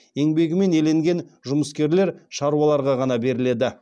еңбегімен еленген жұмыскерлер шаруаларға ғана беріледі